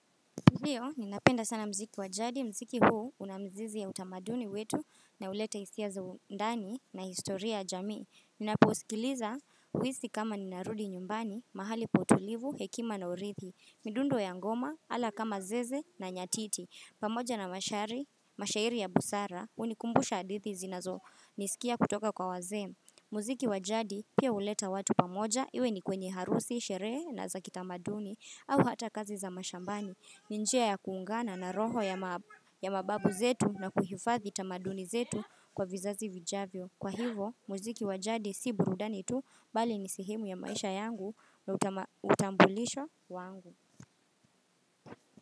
Ndiyo, ninapenda sana mziki wajadi, mziki huu unamzizi ya utamaduni wetu, na huleta hisia za undani na historia ya jamii. Ninaposikiliza, huisi kama ninarudi nyumbani, mahali pa utulivu, hekima na urithi, midundo ya ngoma, ala kama zeze na nyatiti. Pamoja na mashari, mashairi ya busara, hunikumbusha hadithi zinazo, niliskia kutoka kwa wazee. Mziki wajadi, pia huleta watu pamoja, iwe ni kwenye harusi, sherehe na za kitamaduni, au hata kazi za mashambani. Ni njia ya kuungana na roho ya mababu zetu na kuhifadhi tamaduni zetu kwa vizazi vijavyo. Kwa hivo muziki waj adi si burudani tu, bali ni sehemu ya maisha yangu na utambulisho wangu.